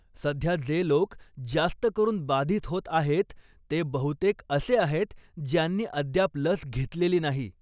सध्या जे लोक जास्त करून बाधित होत आहेत ते बहुतेक असे आहेत ज्यांनी अद्याप लस घेतलेली नाही.